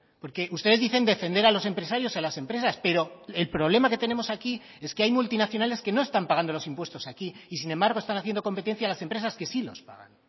porque ustedes dicen defender a los empresarios a las empresas pero el problema que tenemos aquí es que hay multinacionales que no están pagando los impuestos aquí y sin embargo están haciendo competencia a las empresas que sí los pagan